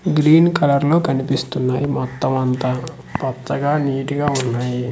Green colour లో కనిపిస్తున్నాయి మొత్తం అంతా పచ్చగా నీట్ గా ఉన్నాయి.